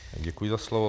Děkuji za slovo.